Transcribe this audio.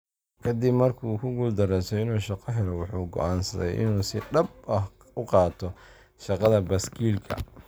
Ka dib markii uu ku guuldareystay inuu shaqo helo, wuxuu go'aansaday inuu si dhab ah u qaato shaqada baaskiilka.